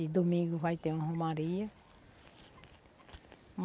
E domingo vai ter uma romaria.